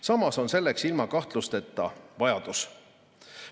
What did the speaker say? Samas on ilma kahtluseta nende järele vajadus.